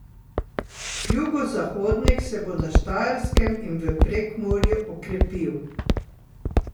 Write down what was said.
Jugozahodnik se bo na Štajerskem in v Prekmurju okrepil.